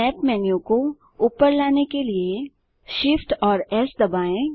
snap menu को ऊपर लाने के लिए Shift और एस दबाएँ